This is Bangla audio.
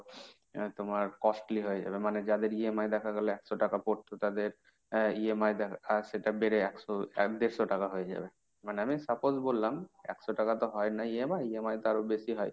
আহ এবার তোমার costly হয়ে যাবে। মানে যাদের EMI দেখা গেল একশো টাকা পড়তো, তাদের আহ EMI দেখা~ সেটা বেড়ে একশো, এক দেড়শ টাকা হয়ে যাবে। মানে আমি suppose বললাম, একশো টাকা তো হয়না EMI, EMI তো আরো বেশি হয়।